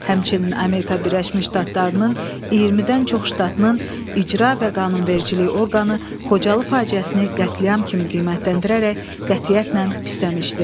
Həmçinin Amerika Birləşmiş Ştatlarının 20-dən çox ştatının icra və qanunvericilik orqanı Xocalı faciəsini qətliam kimi qiymətləndirərək qətiyyətlə pisləmişdi.